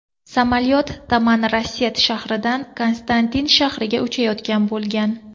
Samolyot Tamanrasset shahridan Konstantin shahriga uchayotgan bo‘lgan.